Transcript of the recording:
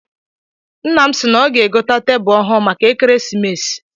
Nna m si na ọ ga egote tebulu ọhụụ maka ekeresimesi.